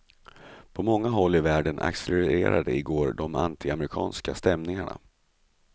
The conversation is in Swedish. På många håll i världen accelererade i går de antiamerikanska stämningarna.